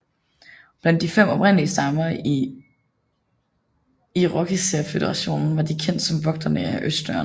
Blandt de fem oprindelige stammer i Irokeserføderationen var de kendt som Vogterne af Østdøren